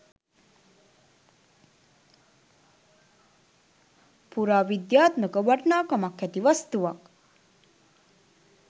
පුරාවිද්‍යාත්මක වටිනාකමක් ඇති වස්තුවක්.